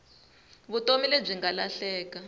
vutomi lebyi nga lahleka